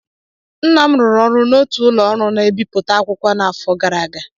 Nna m rụrụ ọrụ n'otu ụlọ ọrụ na-ebipụta akwụkwọ n'afọ gara aga